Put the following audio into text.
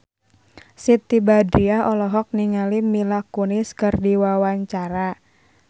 Siti Badriah olohok ningali Mila Kunis keur diwawancara